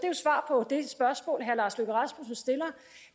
og på det spørgsmål herre lars løkke rasmussen stiller